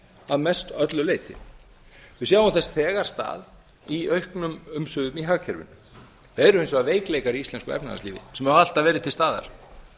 að mestöllu leyti við sjáum þess þegar stað í auknum umsvifum í hagkerfinu það eru hins vegar veikleikar í íslenska efnahagslífinu sem hafa alltaf verið til staðar